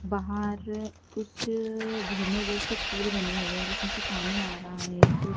बाहर कुछ झरने जैसे फूल बने हुए हैं जिसमें से पानी आ रहा है कु--